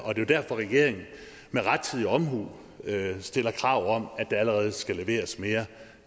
derfor regeringen med rettidig omhu stiller krav om at der allerede skal leveres mere